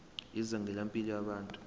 izinga lempilo yabantu